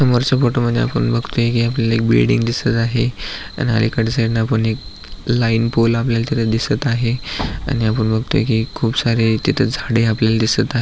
समोरच्या फोटो मधी आपण बगतोय कि आपल्याला एक बिल्डिंग दिसत आहे आणि आलिकडच्या पण एक लाइन पोल आपल्याला तिथ दिसत आहे आणि आपण बगतोय कि खुप सारे तिथ झाडे आपल्याला दिसत आ --